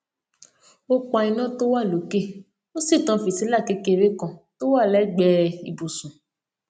ó pa iná tó wà lókè ó sì tan fìtílà kékeré kan tó wà légbèé ibùsùn